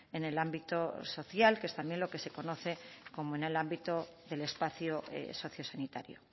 en el ámbito social que es también lo que se conoce como en el ámbito del espacio socio sanitario